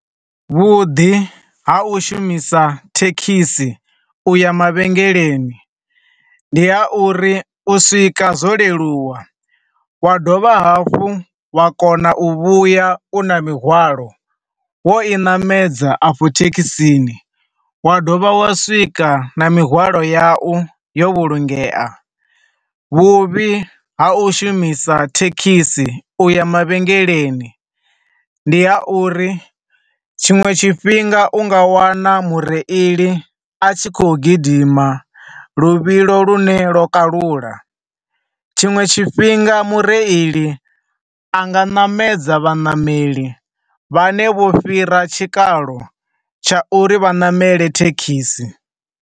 Vhuḓi ha u shumisa thekhisi u ya mavhengeleni, ndi ha uri u swika zwo leluwa, wa dovha hafhu wa kona u vhuya u na mihwalo wo i ṋamedza a fho thekhisini, wa dovha wa swika na mihwalo yawu yo vhulungea. Vhuvhi ha u shumisa thekhisi u ya mavhengeleni, ndi ha uri tshinwe tshifhinga u nga wana mureili a tshi khou gidima luvhilo lune lwo kalula, tshinwe tshifhinga mureili anga ṋamedza vhaṋameli vhane vho fhira tshikalo tsha uri vha ṋamele thekhisi.